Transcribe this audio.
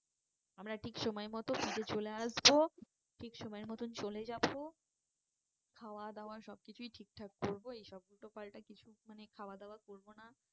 আমরা ঠিক সময় মতো ফিরে চলে আসবো। ঠিক সময় মতো চলে যাবো খাওয়া দাওয়া সব কিছুই ঠিকঠাক করবো এই সব উল্টো পাল্টা কিছু মানে খাওয়া দাওয়া করবো না